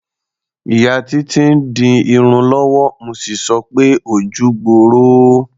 Ìyá Títí ń di irun lọ́wọ́, mo sì sọ pé "ojú gbooro o".